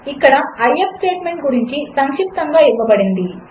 ఇక్కడ ఐఎఫ్ స్టేట్మెంట్గురించిసంక్షిప్తముగాఇవ్వబడింది